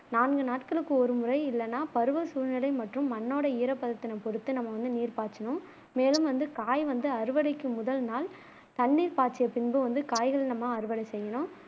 நான்கு நாட்களுக்கு ஒரு முறை இல்லனா பருவ சூழ்நிலை மற்றும் மண்ணோட ஈரப்பதத்தினை பொருத்து நம்ம வந்து நீர் பாய்ச்சனும் மேலும் வந்து காய் வந்து அறுவடைக்கு முதல் நாள் தண்ணீர் பாய்ச்சிய பின்பு வந்து காய்கள் நம்ம அறுவடை செய்யனும்